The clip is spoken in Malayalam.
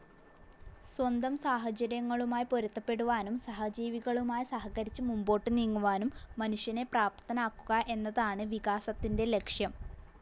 സ്വന്തം സാഹചര്യങ്ങളുമായി പൊരുത്തപ്പെടുവാനും സഹജീവികളുമായി സഹകരിച്ച് മുമ്പോട്ട് നീങ്ങുവാനും മനുഷ്യനെ പ്രാപ്തനാക്കുക എന്നതാണ് വികാസത്തിന്റെ ലക്ഷ്യം.